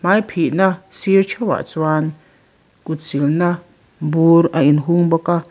hmai phih na sirah theuhah chuan kut silna bur a inhung bawk a.